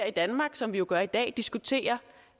i danmark som vi jo gør i dag diskuterer